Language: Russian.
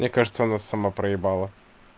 мне кажется она сама проебала